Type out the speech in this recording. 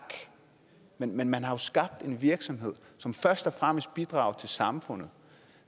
men man har skabt en virksomhed som først og fremmest bidrager til samfundet